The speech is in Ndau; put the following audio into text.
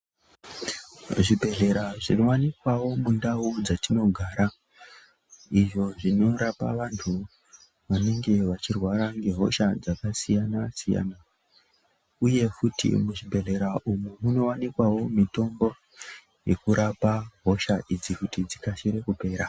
Muzvibhedhlera zvinowanikwawo mundau dzetinogara izvo zvinorapa vantu vanenge vachirwara ngehosha dzakasiyana siyana , uye kuti muzvibhedhlera umu munowanikwawo mitombo yekurapa hosha idzi kuti dzikasire kupera .